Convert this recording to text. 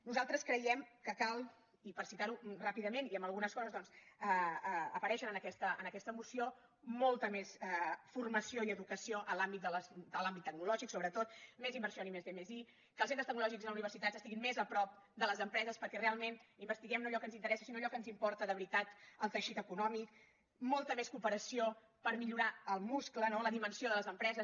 nosaltres creiem que cal i per citar ho ràpidament i amb algunes coses doncs que apareixen en aquesta moció molta més formació i educació en l’àmbit tecnològic sobretot més inversió en i+d+i que els centres tecnològics i les universitats estiguin més a prop de les empreses perquè realment investiguem no allò que ens interessa sinó allò que ens importa de veritat al teixit econòmic molta més cooperació per millorar el muscle no la dimensió de les empreses